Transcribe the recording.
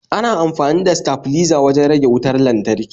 Ana amfani da stafliza wajan rage wutar lantarki